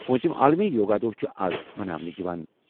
پوٗنٛژِم عالمی یوگا دۄہ چھُ آز مناونہٕ یِوان۔